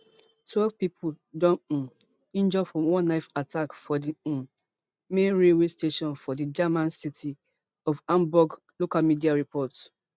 twelve pipo don um injure for one knife attack for di um main railway station for di german city of hamburg local media report